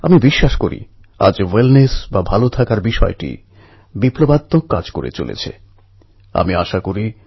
আমার বিশ্বাস আমার যুব বন্ধুরা কলেজ জীবনের শুভারম্ভকে নিয়ে খুবই উৎসাহিত এবং খুশি